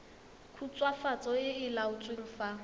khutswafatso e e laotsweng fa